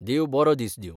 देव बरो दीस दिवं.